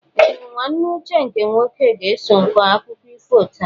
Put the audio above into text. Ee! Nwanne Uche nke nwoke ga-eso kọọ akụkọ ifo taa.